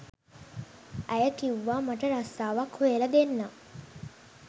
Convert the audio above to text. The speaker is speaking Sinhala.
ඇය කිව්වා මට රස්සාවක් හොයලා දෙන්නම්